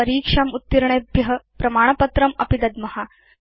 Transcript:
वयं परीक्षाम् उत्तीर्णेभ्य प्रमाणपत्रमपि दद्म